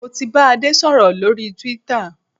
Mo ti bá Adé sọ̀rọ̀ lórí twitter